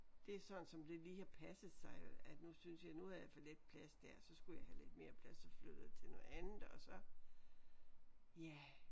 Det er sådan som det lige har passet sig at nu synes jeg nu har jeg for lidt plads der så skulle jeg have lidt mere plads så flyttede jeg til noget andet og så ja